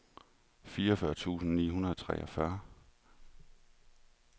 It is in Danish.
fireogfyrre tusind ni hundrede og treogfyrre